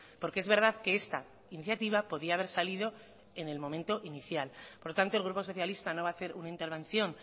porque es verdad que esta iniciativa podía haber salido en el momento inicial por tanto el grupo socialista no va a hacer una intervención